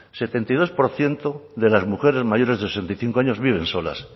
setenta y dos por ciento de las mujeres mayores de sesenta y cinco años viven solas